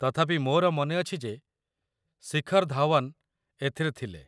ତଥାପି ମୋର ମନେ ଅଛି ଯେ ଶିଖର ଧାୱନ ଏଥିରେ ଥିଲେ।